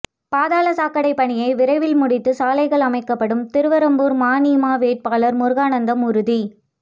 பாதாள சாக்கடை பணியை விரைவில் முடித்து சாலைகள் அமைக்கப்படும் திருவெறும்பூர் மநீம வேட்பாளர் முருகானந்தம் உறுதி